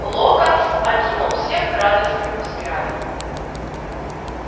локонс окинул всех радостным взглядом